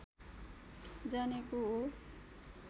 जानेको हो